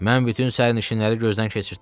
Mən bütün sərnişinləri gözdən keçirtdim.